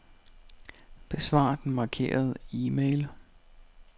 Besvar den markerede e-mail.